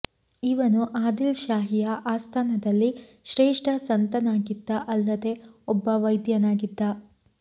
ಇವನು ಆದಿಲ್ ಶಾಹಿಯ ಆಸ್ಥಾನದಲ್ಲಿ ಶ್ರೇಷ್ಠ ಸಂತನಾಗಿದ್ದ ಅಲ್ಲದೆ ಒಬ್ಬ ವೈದ್ಯನಾಗಿದ್ದ